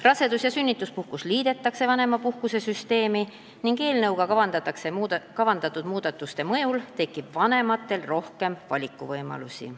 Rasedus- ja sünnituspuhkus liidetakse vanemapuhkuste süsteemi ning eelnõuga kavandatud muudatuste mõjul tekib vanematel rohkem valikuvõimalusi.